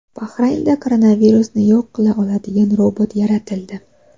Bahraynda koronavirusni yo‘q qila oladigan robot yaratildi.